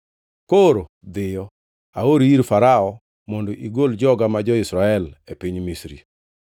Koro dhiyo. Aori ir Farao mondo igol joga ma jo-Israel e piny Misri.”